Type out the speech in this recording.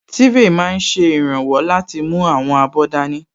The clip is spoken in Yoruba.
Tírè máa n ṣe ìrànwọ́ láti mú àwọn abọ́ dání